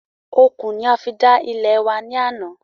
Okùn ni a fi dá ilẹ̀ wa ní àná